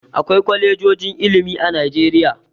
Akwai kwalejojin ilimi a Najeriya.